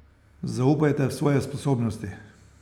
Zaupajte v svoje sposobnosti!